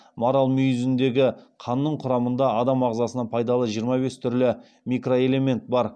марал мүйізіндегі қанның құрамында адам ағзасына пайдалы жиырма бес түрлі микроэлемент бар